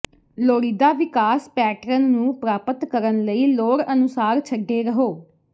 ਲੋੜੀਦਾ ਵਿਕਾਸ ਪੈਟਰਨ ਨੂੰ ਪ੍ਰਾਪਤ ਕਰਨ ਲਈ ਲੋੜ ਅਨੁਸਾਰ ਛੱਡੇ ਰਹੋ